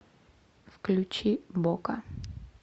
включи бока